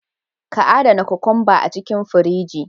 Ka adana kokwamba a cikin firiji.